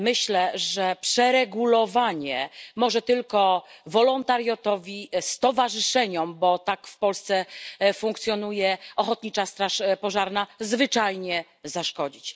Myślę, że przeregulowanie może tylko wolontariatowi i stowarzyszeniom bo tak w Polsce funkcjonuje ochotnicza straż pożarna zwyczajnie zaszkodzić.